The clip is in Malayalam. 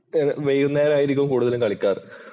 വൈകുന്നേരം ആയിരിക്കും കൂടുതലും കളിക്കാറ്.